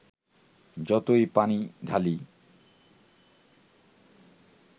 যতই পানি ঢালি